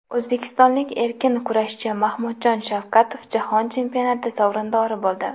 O‘zbekistonlik erkin kurashchi Mahmudjon Shavkatov jahon chempionati sovrindori bo‘ldi.